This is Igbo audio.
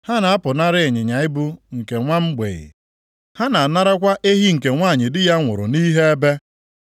Ha na-apụnara ịnyịnya ibu nke nwa mgbei, ha na-anarakwa ehi nke nwanyị di ya nwụrụ nʼihe ebe.